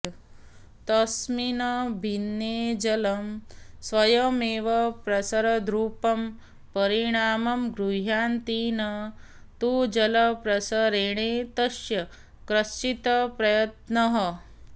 तस्मिन् भिन्ने जलं स्वयमेव प्रसरद्रूपं परिणामं गृह्णाति न तु जलप्रसरणे तस्य कश्चित् प्रयत्नः